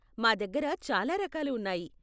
మా దగ్గర చాలా రకాలు ఉన్నాయి.